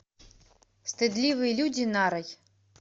стыдливые люди нарой